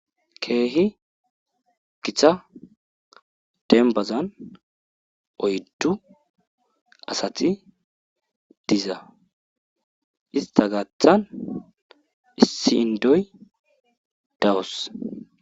keehi gita dembazan oyddu asati diza ista gaaththan issindoy dawus